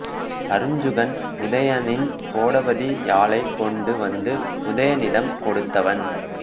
அருஞ்சுகன் உதயணனின் கோடபதி யாழைக் கொண்டு வந்து உதயணனிடம் கொடுத்தவன்